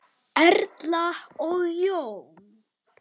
Erla og Jón.